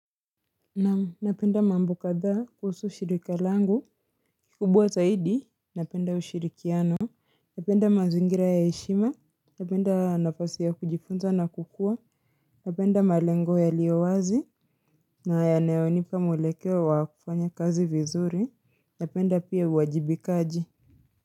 Naam napenda mambo kadhaa kuhusu shirika langu kubwa zaidi Napenda ushirikiano Napenda mazingira ya heshima Napenda nafasi ya kujifunza na kukua Napenda malengo yaliyowazi na yanayonipa mwelekeo wa kufanya kazi vizuri Napenda pia uwajibikaji.